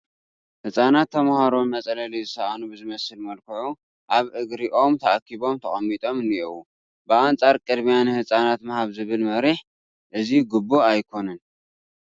ህፃናት ተመሃሮ መፅለሊ ዝሰኣኑ ብዝመስል መልክዑ ኣብ እግሪ ኦም ተኣኪቦም ተቐሚጦም እኔዉ፡፡ ብኣንፃር ቅድሚያ ንህፃናት ምሃብ ዝብል መሪሕ እዚ ግቡእ ኣይኮነን፡፡